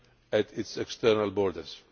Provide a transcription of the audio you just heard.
at its external borders.